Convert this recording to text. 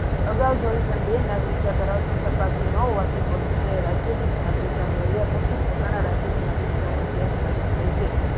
અગાવ જોયું તેમ મગરિક્તા ધરાવતીન સંતતિ ન હોવાથી રાજ્ય નાગરિકતા મેળવ્યા પછી પોતાના રાજ્યની નાગરિકતાને